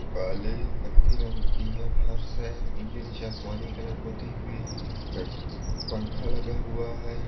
काले काठी रंग की यह फर्श है इसके नीचे आसमानी कलर पूति हुई है पंखा लगा हुआ है।